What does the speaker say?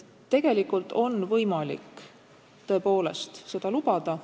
Tegelikult on võimalik tõepoolest seda lubada.